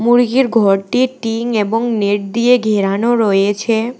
মুরগির ঘরটি টিন এবং নেট দিয়ে ঘেরানো রয়েছে।